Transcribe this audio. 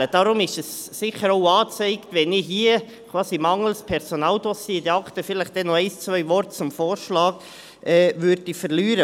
Deshalb ist es sicher auch angezeigt, dass ich hier – quasi mangels Personaldossier in diesen Akten – noch ein oder zwei Worte zum Vorschlag verliere.